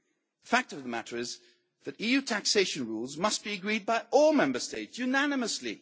cuts. The fact of the matter is that EU taxation rules must be agreed by all Member States unanimously.